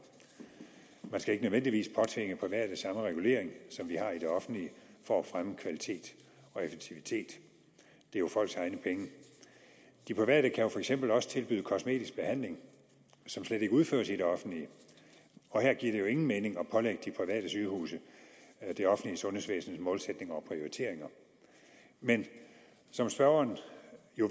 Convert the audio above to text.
man skal ikke nødvendigvis påtvinge private samme regulering som vi har i det offentligt for at fremme kvalitet og effektivitet det er jo folks egne penge de private kan jo for eksempel også tilbyde kosmetisk behandling som slet ikke udføres i det offentlige og her giver det jo ingen mening at pålægge de private sygehuse det offentlige sundhedsvæsens målsætning om prioriteringer men som spørgeren